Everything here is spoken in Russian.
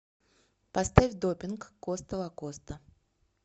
поставь допинг коста лакоста